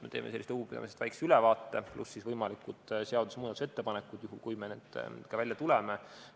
Me teeme sellest nõupidamisest väikese ülevaate, pluss võimalikud seaduse muutmise ettepanekud, juhul kui me nendega välja tuleme.